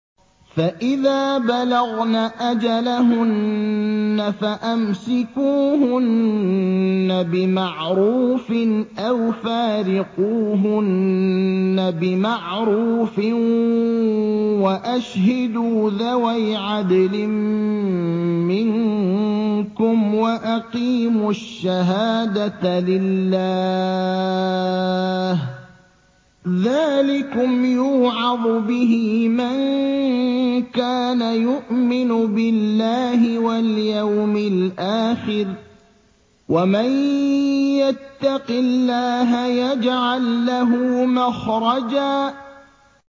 فَإِذَا بَلَغْنَ أَجَلَهُنَّ فَأَمْسِكُوهُنَّ بِمَعْرُوفٍ أَوْ فَارِقُوهُنَّ بِمَعْرُوفٍ وَأَشْهِدُوا ذَوَيْ عَدْلٍ مِّنكُمْ وَأَقِيمُوا الشَّهَادَةَ لِلَّهِ ۚ ذَٰلِكُمْ يُوعَظُ بِهِ مَن كَانَ يُؤْمِنُ بِاللَّهِ وَالْيَوْمِ الْآخِرِ ۚ وَمَن يَتَّقِ اللَّهَ يَجْعَل لَّهُ مَخْرَجًا